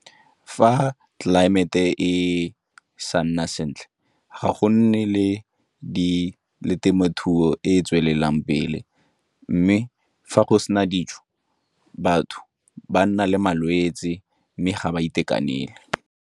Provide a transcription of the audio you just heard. Fa tlelaemete e sa nna sentle, ga go nne le temothuo e e tswelelang pele mme fa go sena dijo, batho ba nna le malwetse mme ga ba itekanele.